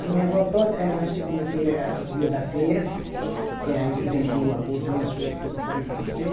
A minha avó toda era na segunda-feira, era dia da feira, que era aí que vendia o algodão, as coisa que eu falei para vocês.